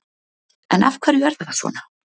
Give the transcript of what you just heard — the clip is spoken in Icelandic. En af hverju er þetta svona?